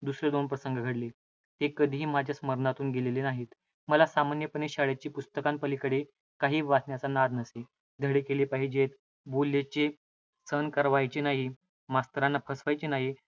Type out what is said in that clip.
दुसरे दोन प्रसंग घडले, ते कधीही माझ्या स्मरणातून गेलेले नाहीत. मला सामान्यपणे शाळेच्या पुस्तकांपलीकडे काहीही वाचण्याचा नाद नसे. धडे केले पाहिजेत. बोललेले सहन व्हावयाचे नाही, मास्तरांना फसवावयाचे नाही, म्हणून